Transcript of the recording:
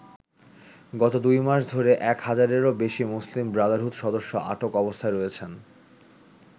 গত দুই মাস ধরে এক হাজারেরও বেশি মুসলিম ব্রাদারহুড সদস্য আটক অবস্থায় রয়েছেন।